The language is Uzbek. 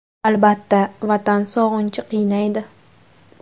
Albatta, Vatan sog‘inchi qiynaydi.